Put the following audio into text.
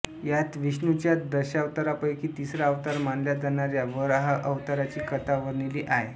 यात विष्णूच्या दशावतारांपैकी तिसरा अवतार मानल्या जाणाऱ्या वराह अवताराची कथा वर्णिली आहे